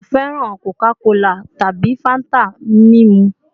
Ṣe o fẹran Coca-Cola tabi Fanta mimu?